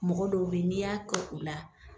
Mɔgɔ dɔw be ye n'e y'a kɛ u la